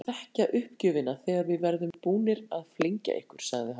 Þið munið þekkja uppgjöfina þegar við verðum búnir að flengja ykkur sagði hann.